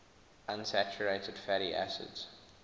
unsaturated fatty acids